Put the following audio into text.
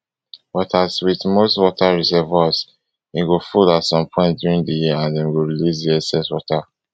but as wit most water reservoirs e go full at some point during di year and dem go release di excess water